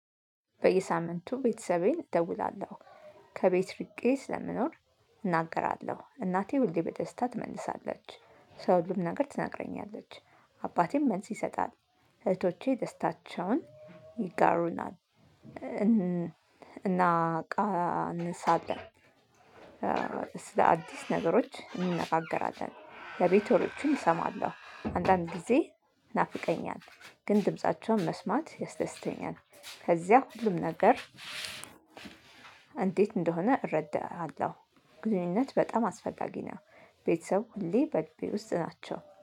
በየሳምንቱ ቤተሰቤን እደውላለሁ። ከቤት ርቄ ስለምኖር። እናገራለሁ እናቴ ሁሌ በደስታ ትመልሳለች። ስለ ሁሉም ነገር ትናግረኛለች። አባቴም መልስ ይሰጣል። እህቶቼ ደስታቸውን ይጋሩናል። እናቃንሳለን። ስለ አዲስ ነገሮች እንነጋገራለን ለቤት ወሬዎችም እሰማለሁ አንዳንድ ጊዜ። ይናፍቀኛል ግን ድምፃቸውን መስማት ያስደስተኛል። ከዚያ ሁሉም ነገር። እንዴት እንደሆነ እረዳሃለሁ። ግንኙነት በጣም አስፈላጊ ነው። ቤተሰብ ሁሌ በልቤ ውስጥ ናቸው